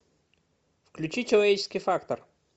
включи человеческий фактор